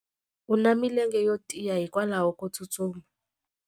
U na milenge yo tiya hikwalaho ko tsustuma.